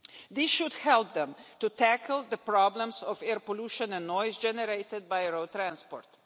This should help them to tackle the problems of air pollution and noise generated by road transport.